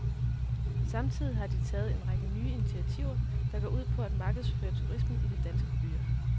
Samtidig har de taget en række nye initiativer, der går ud på at markedsføre turisme i de danske byer.